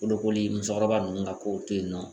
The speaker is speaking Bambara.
Bolokoli musokɔrɔba ninnu ka kow te yen nɔ